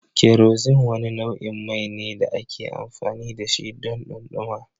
Kerosene wani nau'in mai ne da ake amfani da shi don dumama.